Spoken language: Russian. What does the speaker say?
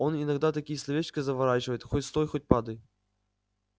он иногда такие словечки заворачивает хоть стой хоть падай